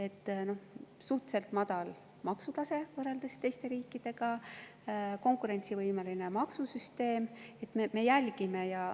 Nii et suhteliselt madal maksutase võrreldes teiste riikide ja konkurentsivõimeline maksusüsteem.